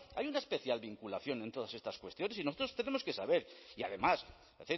hay una especial vinculación en todas estas cuestiones y nosotros tenemos que saber y además es